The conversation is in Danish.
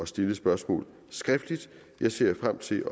stille spørgsmål skriftligt jeg ser frem til